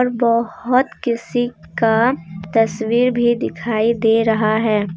और बहुत किसी का तस्वीर भी दिखाई दे रहा है।